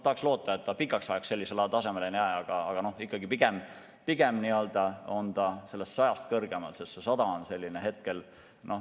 Väga loodame, et hind pikaks ajaks sellisele tasemele ei jää, aga ikkagi on ta pigem sellest 100 eurost kõrgem, sest olukord on hetkel selline.